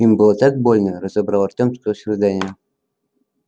им было так больно разобрал артём сквозь рыдания